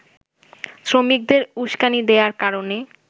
শ্রমিকদের উস্কানি দেয়ার কারণে